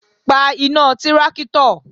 Pa iná tráktọ̀!